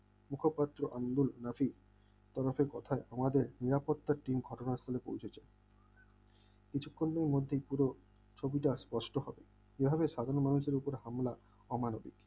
মুখপত্র আন্দোলন আমাদের নিরাপত্তার team ঘটনাস্থলে পৌঁছেছে কিছুক্ষণের মধ্যেই পুরো ছবিটা স্পষ্ট হল এভাবে স্বাধীন মানুষের উপর হামলা আমার